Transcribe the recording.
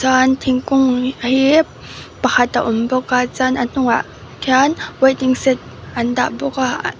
an thingkung hi pakhat a awm bawk a chuan a hnungah khian waiting shed an dah bawk a--